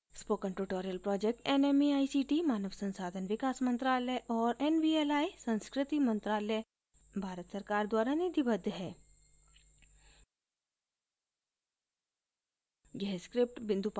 spoken tutorial project nmeict मानव संसाधन विकास मंत्रायल और nvli संस्कृति मंत्रालय भारत सरकार द्वारा निधिबद्ध है